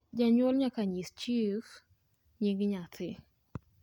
Janyuol nyaka nyis chif nying nyathi